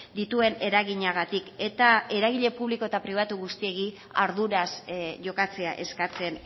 dituen eraginagatik eta eragile publiko eta pribatu guztiei arduraz jokatzea eskatzen